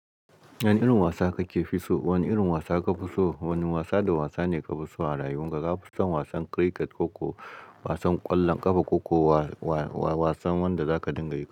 Wane irin wasa kake fi so? Wane irin wasa kafi so? Wane wasa da wasa ne kafi so a rayuwarka? Zaka fi son wasan cricket ko ko wasan ƙwallon ƙafa ko ko wasan wanda zaka dinga yi?